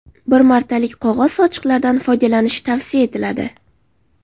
Bir martalik qog‘oz sochiqlardan foydalanish tavsiya etiladi.